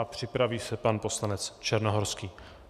A připraví se pan poslanec Černohorský.